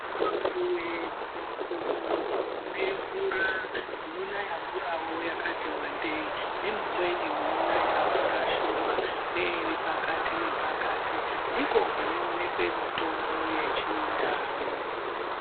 Mumapuve, mumakomo mune mvura munonayavo mvura yakati vandei. Nemumweni munonaya mvura shoma neiri pakati nepakati. Ndiko kunoonekwe mitombo yechindau.